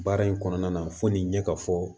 Baara in kɔnɔna na fo nin ɲɛ ka fɔ